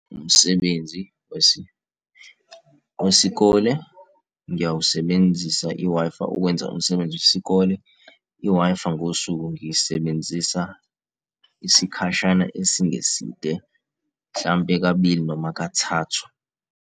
Umsebenzi wesikole ngiyawusebenzisa i-Wi-Fi ukwenza umsebenzi wesikole. I-Wi-Fi ngosuku ngiyisebenzisa isikhashana esingeside, mhlampe kabili noma kathathu.